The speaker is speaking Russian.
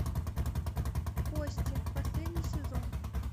кости последний сезон